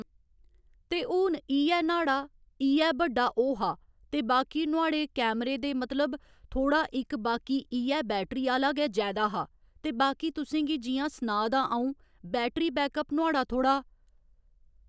ते हून इ'यै न्हाड़ा इ'यै बड्डा ओह् हा ते बाकी नुआढ़े कैमरे दे मतलब थोह्‌ड़ा इक बाकी इ'यै बैटरी आह्‌ला गै जैदा हा ते बाकी तुसें गी जियां सनाऽ दा अ'ऊं बैटरी बैकअप नुआढ़ा थोह्ड़ा